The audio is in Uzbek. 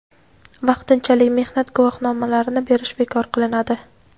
vaqtinchalik mehnat guvohnomalarini berish bekor qilinadi.